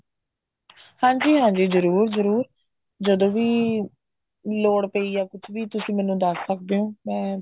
ਹਾਂਜੀ ਹਾਂਜੀ ਜਰੂਰ ਜਰੂਰ ਜਦੋਂ ਵੀ ਲੋੜ ਪਈ ਜਾ ਕੁੱਝ ਵੀ ਤੁਸੀਂ ਮੈਨੂੰ ਦੱਸ ਸਕਦੇ ਓ ਮੈਂ ਤੁਹਾਨੂੰ